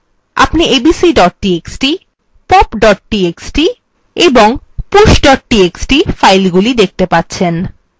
আপনি abc pop এবং push txt filesগুলি দেখতে পাচ্ছেন